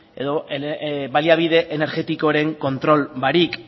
edo baliabide energetikoren kontrol barik